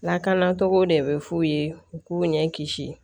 Lakanacogo de bɛ f'u ye u k'u ɲɛ kisi